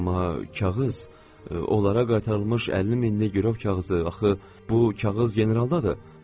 Amma kağız, onlara qaytarılmış 50 minlik girov kağızı, axı bu kağız generaldadır.